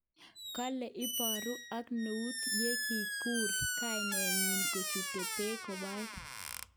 Kole eboru ak neut yekikur kainet nyin yechute beek koboe.